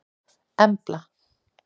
Embla